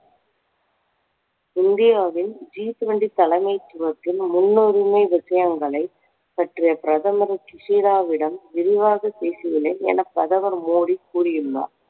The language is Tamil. இந்தியாவின் G twenty தலைமைத்துவத்தின் முன்னுரிமை விஷயங்களை பற்றி பிரதமர் சுஷிதாவிடம் விரிவாக பேசியுள்ளேன் என பிரதமர் மோடி கூறியுள்ளார்